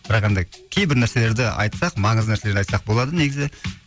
бірақ енді кейбір нәрселерді айтсақ маңызды нәрселерді айтсақ болады негізі